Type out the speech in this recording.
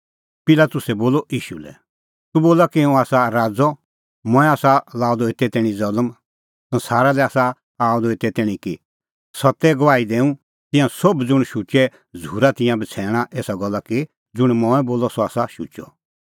पिलातुसै बोलअ ईशू लै तूह बोला कि हुंह आसा राज़अ मंऐं आसा लअ द एते तैणीं ज़ल्म संसारा लै आसा आअ द एते तैणीं कि सत्ते गवाही दैंऊं तिंयां सोभ ज़ुंण शुचै झ़ूरा तिंयां बछ़ैणा एसा गल्ला कि ज़ुंण मंऐं बोलअ सह आसा शुचअ